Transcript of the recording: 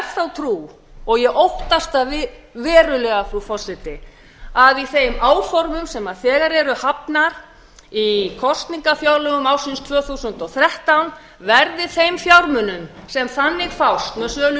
þá trú og ég óttast það verulega frú forseti að í þeim áformum sem þegar eru hafnar í kosningafjárlögum ársins tvö þúsund og þrettán verði þeim fjármunum sem þannig fást með sölu